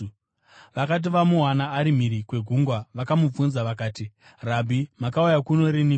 Vakati vamuwana ari mhiri kwegungwa vakamubvunza vakati, “Rabhi, makauya kuno riniko?”